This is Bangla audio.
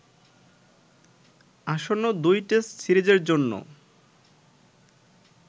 আসন্ন ২ টেস্ট সিরিজের জন্য